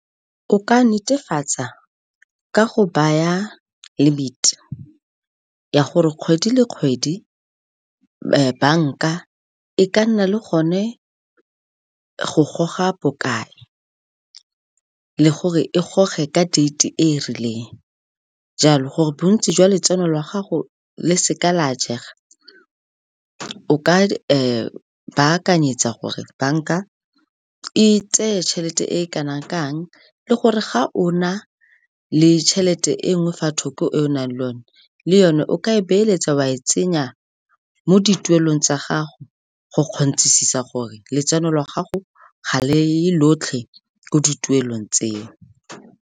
O ka netefatsa ka go baya limit ya gore kgwedi le kgwedi banka e ka nna le gone go goga bokae, le gore e goge ka date-e e rileng. Jalo gore bontsi jwa letseno la gago le seka la jega, o ka baakanyetsa gore banka e tseye tšhelete e kana kang le gore ga o na le tšhelete e nngwe fa thoko e o nang le yone, le yone o ka e beeletsa o a e tsenya mo dituelong tsa gago go kgonthisisa gore letseno la gago ga le ye lotlhe ko ditulong tseo.